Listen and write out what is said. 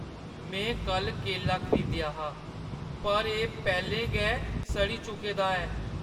में कल्ल केला खरीदेआ हा पर एह् पैह्‌लें गै सड़ी चुके दा ऐ।